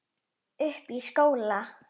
Uppi í skóla?